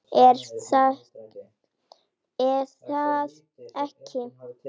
er það ekki?